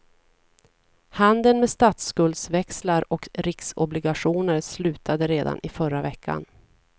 Handeln med statsskuldväxlar och riksobligationer slutade redan i förra veckan.